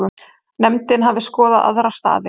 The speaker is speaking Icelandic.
Nefndin hafi skoðað aðra staði.